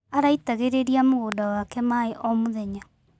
Araitagĩrĩria mũgũnda wake maĩ o mũthenya.